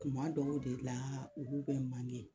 Kuma dɔw de la olu bɛ